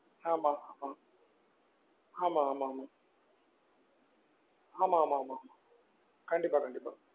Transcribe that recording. ஆமா ஆமா ஆமா ஆமா ஆமா ஆமா ஆமா கண்டிப்பா கண்டிப்பா